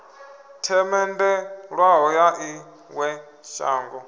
themendelwaho ya ḽi ṅwe shango